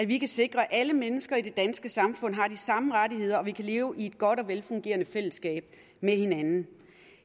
vi kan sikre at alle mennesker i det danske samfund har de samme rettigheder og vi kan leve i et godt og velfungerende fællesskab med hinanden